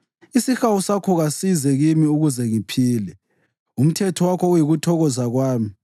Isihawu sakho kasize kimi ukuze ngiphile, umthetho wakho uyikuthokoza kwami.